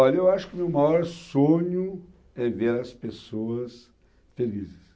Olha, eu acho que o meu maior sonho é ver as pessoas felizes.